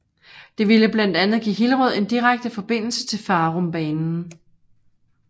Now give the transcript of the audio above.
Det ville blandt andet give Hillerød en direkte forbindelse til Farumbanen